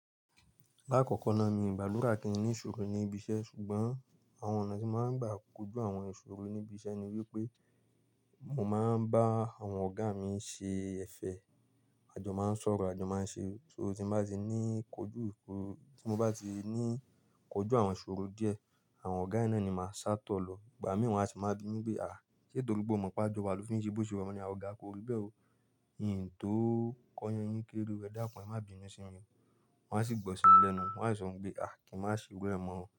Lákọkọ náà, mi gbàdúrà kí n ní ìṣòro ní ibi iṣẹ́ ṣùgbọ́n àwọn ọ̀nà tí mo máa ń gbà kojú àwọn ìṣòro níbi iṣẹ́ ni wípé mo máa ń bá àwọn ọ̀gá mi ṣe ẹ̀fẹ̀. Àjọ máa ń sọ̀rọ̀, àjọ máa ń ṣe, so tí n bá ti ní kojú ìkoro, tí mo bá ti ní kojú àwọn ìṣòro díẹ̀, àwọn ọ̀gá yí naa ni màá sátọ̀ lọ. Ìgbà mì wọn a sì máa bi mí pé, "à, ṣe torí pe o mọ̀ pe àjọ wa ló fi ń ṣe bó ṣe wu ẹ?" mo ni Ọ̀gá ko rí bẹ́ẹ̀ ó. Ìn tó kọ yan yín kéré o, ẹ dákun, ẹ má binú sími o" Wọn a sì gbọ́ sí mi lẹ́nu. Wọn a sì sọ pé, "à, kí n má ṣe irú ẹ mọ́ o."